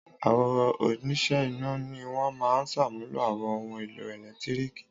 Àwọn oníṣẹ́ iná ni wọ́n máa ṣàmúlò àwọn ohun-èlò ẹ̀lẹ́tíríkì.